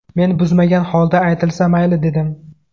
Men buzmagan holda aytilsa, mayli dedim.